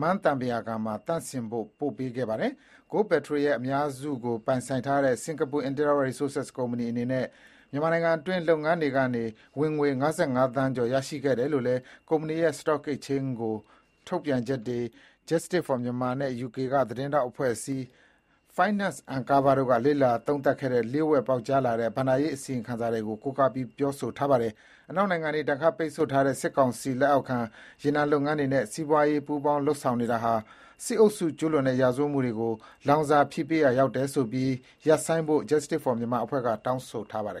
မန်းသံပုရာကန်မှာသန့်စင်ဖို့ ပေးပို့ခဲ့ပါတယ်။ Goldpetro ရဲ့ အများစုကိုပိုင်ဆိုင်ထားတဲ့ စင်္ကာပl Interra Resources ကုမ္ပဏီအနေနဲ့ မြန်မာနိုင်ငံအတွင်း လုပ်ငန်းတွေကနေ ဝင်ငွေ ၅၅ သန်းကျော် ရရှိခဲ့တယ်လို့လည်း ကုမ္ပဏီရဲ့ Stock Exchange ကို ထုတ်ပြန်ချက်တွေ၊ Justice for Myanmar နဲ့ ယူကေ သတင်းထောက်အဖွဲ့အစည်း Finance Uncovered တို့က လေ့လာသုံးသပ်ခဲ့တဲ့ လျှို့ဝှက် ပေါက်ကြားလာတဲ့ ဘဏ္ဍာရေးအစီရင်ခံစာတွေကို ကိုးကားပြီး ပြောဆိုထားပါတယ်။ အနောက်နိုင်ငံတွေ ဒဏ်ခတ်ပိတ်ဆို့ထားတဲ့ စစ်ကောင်စီလက်အောက်ခံ ရေနံလုပ်ငန်းတွေနဲ့ စီးပွားရေး ပူးပေါင်း လုပ်ဆောင်နေတာဟာ စစ်အုပ်စုကျူးလွန်တဲ့ရာဇဝတ်မှုတွေကို လောင်စာဖြည့်ပေးရာရောက်တယ်ဆိုပြီး ရပ်ဆိုင်းဖို့ Justice for Myanmar အဖွဲ့က တောင်းဆိုထားပါတယ်